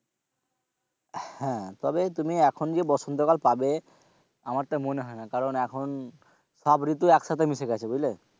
তবে তুমি এখন যে বসন্ত কাল পাবে আমার তা মনে হয়না কারণ এখন সব ঋতু একসাথে মিশে গেছে,